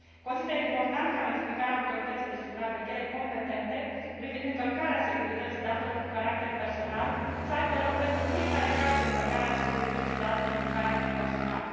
Consider important ca notificarea autorității competente de supraveghere privind încălcarea securității datelor cu caracter personal să aibă loc pentru fiecare caz de încălcare a securității datelor cu caracter personal.